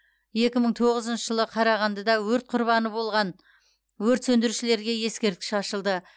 екі мың тоғызыншы жылы қарағандыда өрт құрбаны болған өрт сөндірушілерге ескерткіш ашылды